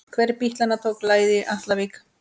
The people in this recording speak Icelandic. Hver bítlanna tók lagið í Atlavík?